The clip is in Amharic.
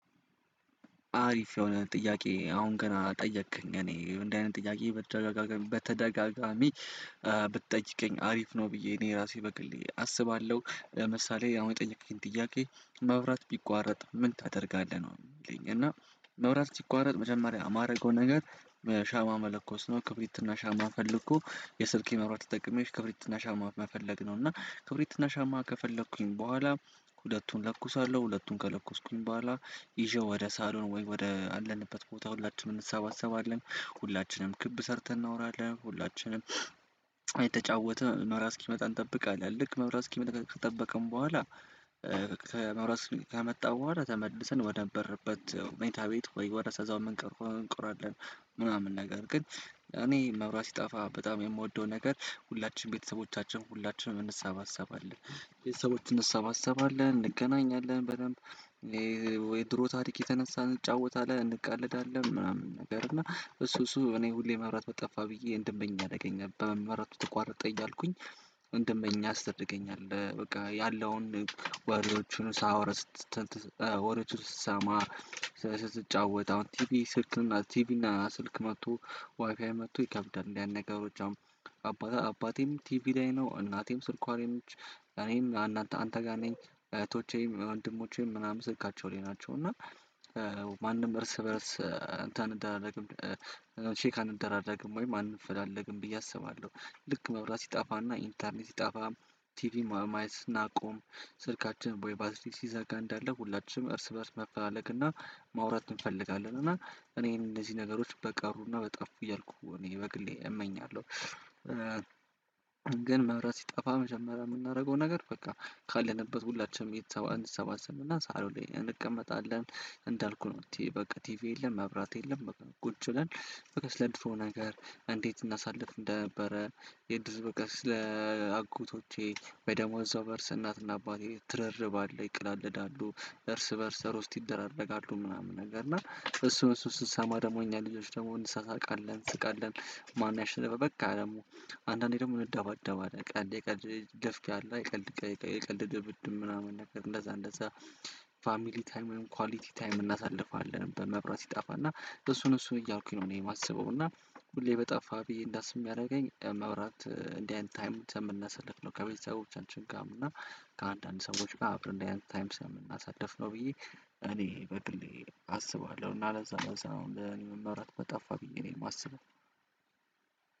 አሪፍ የሆነ ጥያቄ አሁን ገና ጠየቅከኝ እኔ እንዲህ አይነት ጥያቄ በተደጋጋሚ በተደጋጋሚ ብትጠይቀኝ አሪፍ ነው። ብዬ እኔ ራሴ በግልዬ አስባለሁ ምሳሌ ያው የጠየቀኝ ጥያቄ መብራት ቢቋረጥ ምን ታደርጋለህ ነው? ምትለኝ እና መብራት ሲቋረጥ መጀመሪያ ማረገው ነገር ሻማ መለኮስ ነው። ክብሪት እና ሻማ ፈልጎ የስልኬን መብራት ተጠቅሜ ክብሪትና ሻማ መፈለግ ነው። እና ክብሪት እና ሻማ ከፈለኩኝ በኋላ ሁለቱን ለኩሳለሁ ሁለቱን ከለኮስኩኝ በኋላ ይዤው ወደ ሳሎን ወይ ወደ አለንበት ቦታ ሁላችንም እንሰባሰባለን። ሁላችንም ክብ ሰርተን እናወራለን ሁላችንም እየተጫወትነ መብራት እስኪመጣ እንጠብቃለን። ልክ መብራት እስኪመጣ ከጠበቅን በኋላ ከመብራት ከመጣው በኋላ ተመልሰን ወደ ነበርንበት መኝታ ቤት ወይ ወደ እዛው ምንቀር እንቀራለን። ምናምን ነገር ግን እኔ መብራት ሲጠፋ በጣም የምወደው ነገር ሁላችንም ቤተሰቦቻችን ሁላችንም እንሰባሰባለን ቤተሰቦች እንሰባሰባለን እንገናኛለን በደንብ ሻማ መለኮስ ነው። ክብሪት እና ሻማ ፈልጎ የስልኬን መብራት ተጠቅሜ ክብሪትና ሻማ መፈለግ ነው። እና ክብሪት እና ሻማ ከፈለኩኝ በኋላ ሁለቱን ለኩሳለሁ ሁለቱን ከለኮስኩኝ በኋላ ይዤው ወደ ሳሎን ወይ ወደ አለንበት ቦታ ሁላችንም እንሰባሰባለን። ሁላችንም ክብ ሰርተን እናወራለን ሁላችንም እሱ እሱ እኔ ሁሌ መብራት በጠፋ ብዬ እንደመኝ አደረገኝ በመብራቱ ተቋርጠ እያልኩኝ እንድመኝ ያስደርገኛል። በቃ ያለውን ወሬዎቹን ስሰማ ስትጫወት አሁን ቲቢ ስልክና ቲቢና ስልክ መጥቶ ዋይፋይ መጥቶ ይከብዳል እንዲህ አይነት ነገሮች። አባቴ አባቴም ቲቪ ላይ ነው እናቴም ስልኳ ላይ ነች። እኔም አንተ ጋር ነኝ እህቶቼም ወንድሞቼም ምናምን ስልካቸው ላይ ናቸው። እና ማንም እርስ በእርስ እንትን አንደራረግም ቼክ አንደራረግም ወይም አንፈላለግም ብዬ አስባለሁ። ልክ መብራት ሲጠፋ እና ኢንተርኔት ሲጠፋ ቲቪ ማየት ስናቆም ስልካችን በወይ ባትሪ ሲዘጋ እንዳለ ሁላችንም እርስ በእርስ መፈላለግ እና ማውራት እንፈልጋለን። እና እኔን እነዚህ ነገሮች በቀሩ ና በጠፉ እያልኩ እኔ በግሌ እመኛለሁ። ግን መብራት ሲጠፋ መጀመሪያ የምናረገው ነገር በቃ ካለንበት ሁላችንም ቤተሰብ እንሰባሰብ እና ሳሎን ላይ እንቀመጣለን። እንዳልኩህ ነው በቃ ቲቪ የለም መብራት የለም። ቁጭ ብለን ለድሮ ነገር እንዴት እናሳልፍ እንደነበረ? የደር ፍቅር ስለ በደሞ እዛው በእርስ እናትና አባቴ ትርርብ አለ ይቀላለዳሉ እርስ በእርስ በርስ ሮስት ይደራረጋሉ ምናምን ነገር እና እሱን እሱን ስንሰማ ደግሞ እኛ ልጆች ደግሞ እንሳሳቃለን እስቃለን። ማን ያሸነፈበቃ ደግሞ አንዳንዴ ደግሞ እንደባደባለን ቀልድ የቀልድ ደፍቂያ አለ የቀለድ የቀለድ ድብድብ ምናምን ነገር እንደዛ እንደዛ ፋሚሊ ታይም ወይም ኳሊቲ ታይም እናሳልፋለን። በመብራት ይጣፋና እሱን እሱን እያልኩኝ ነው እኔ ማስበው እና ሁሌ በጠፋ ብዬ እንዳስብ የሚያረገኝ መብራት እንዲህ አይነት ታይም ከምናሳልፍ ነው። ከቤተሰቦቻችን ጋም እና ፋሚሊ ታይም ወይም ኳሊቲ ታይም እናሳልፋለን። በመብራት ይጣፋና እሱን እሱን እያልኩኝ ነው እኔ ማስበው እና ሁሌ በጠፋ ብዬ እንዳስብ የሚያረገኝ መብራት እንዲህ አይነት ታይም ከምናሳልፍ ነው። ከቤተሰቦቻችን ጋም እና